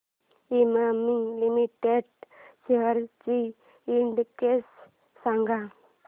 Emami limited shares चा index सांगा